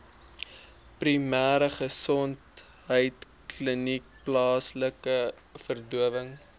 primêregesondheidkliniek plaaslike verdowing